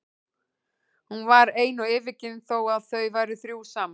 Hún var ein og yfirgefin þó að þau væru þrjú saman.